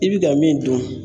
I bi ka min dun